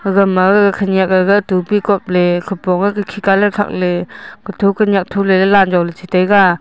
ga khanak aa ga ga topi kap la ley khapon khakhe khar katoh.